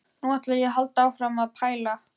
Nú ætla ég að halda áfram að pæla.